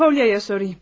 Polya'ya sorayım.